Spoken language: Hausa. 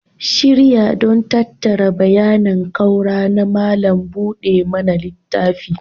Shirya don tattara bayanan ƙaura na malam buɗe mana littafi